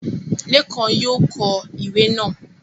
Lékan yóò kọ ìwé náà